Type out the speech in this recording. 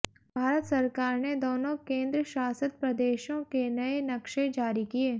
भारत सरकार ने दोनों केंद्र शासित प्रदेशों के नए नक्शे जारी किए